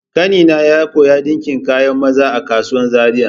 Ƙanina ya koya ɗinka kayan maza a kasuwan Zariya.